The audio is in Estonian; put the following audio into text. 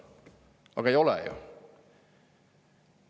Aga ei ole ju!